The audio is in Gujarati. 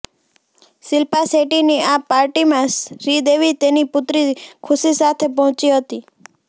શિલ્પા શેટ્ટીની આ પાર્ટીમાં શ્રીદેવી તેની પુત્રી ખુશી સાથે પહોંચી હતી